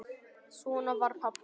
Svona var pabbi.